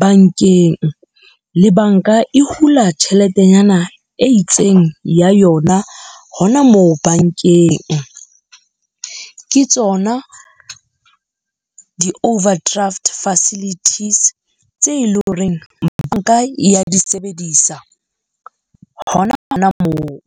bankeng, le banka e hula tjheletenyana e itseng ya yona hona moo bankeng. Ke tsona di-overdraft facilities tse leng hore banka e ya di sebedisa hona hona moo.